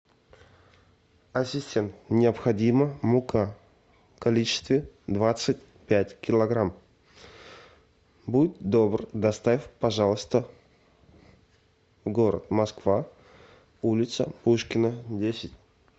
ассистент необходима мука в количестве двадцать пять килограмм будь добр доставь пожалуйста город москва улица пушкина десять